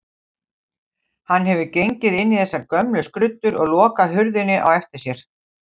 Hann hefur gengið inn í þessar gömlu skruddur og lokað hurðinni á eftir sér.